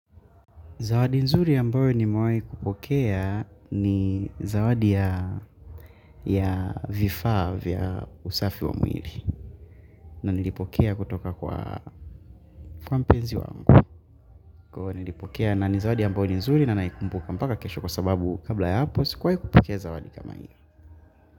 Zawadi nzuri ambayo nimewahi kupokea ni zawadi ya vifaa vya usafi wa mwili. Na nilipokea kutoka kwa mpenzi wangu. Nilipokea na ni zawadi ambayo ni nzuri na naikumbuka mpaka kesho kwa sababu kabla ya hapo, sikuwahi kupokea zawadi kama hii.